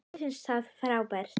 Mér finnst hann frábær.